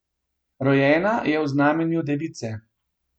Rojena je v znamenju device.